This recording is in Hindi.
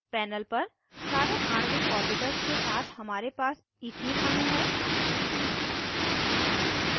पैनल पर सारे आणविक ऑर्बिटल्स के साथ हमारे पास इथीन अणु है